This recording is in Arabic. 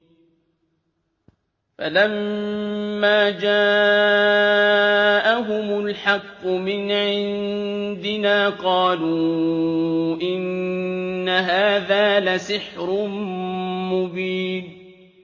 فَلَمَّا جَاءَهُمُ الْحَقُّ مِنْ عِندِنَا قَالُوا إِنَّ هَٰذَا لَسِحْرٌ مُّبِينٌ